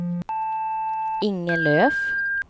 Inge Löf